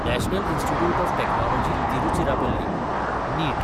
national institute of technology Tiruchirappalli (नीट)